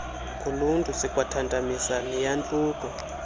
koluntu sikwathantamisa neyantluko